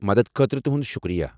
مدد خٲطرٕ تُہُنٛد شُکریا۔